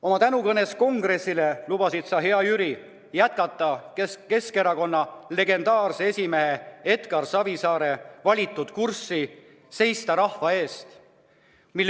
Oma tänukõnes kongressile lubasid sa, hea Jüri, jätkata Keskerakonna legendaarse esimehe Edgar Savisaare valitud kurssi ja seista rahva eest.